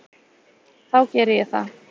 Þá geri ég það.